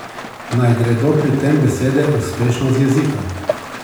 Naj gredo pri tem besede uspešno z jezika!